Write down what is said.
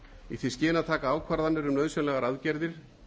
í því skyni að taka ákvarðanir um nauðsynlegar aðgerðir